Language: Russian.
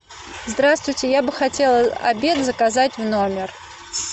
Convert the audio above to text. здравствуйте я бы хотела обед заказать в номер